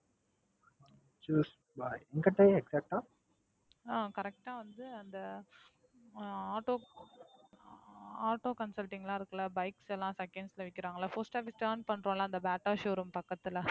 அஹ் Correct ஆ வந்து அந்த ஹம் ஆட்டோ ஆட்டோ கன்சல்டிங்லாம் இருக்குல Bikes லாம் Seconds ல விக்கிராங்கல்ல Post office turn பண்றோம்ல அந்த BATA show room பக்கத்துல